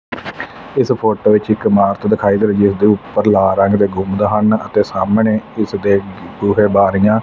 ਇਸ ਫੋਟੋ ਵਿੱਚ ਹੀ ਇਮਾਰਤ ਦਿਖਾਈ ਦੇ ਉੱਪਰ ਲਾ ਰੰਗ ਦੇ ਗੁਮਦ ਹਨ ਅਤੇ ਸਾਹਮਣੇ ਉਸ ਦੇ ਬੂਹੇ ਬਾਰੀਆਂ।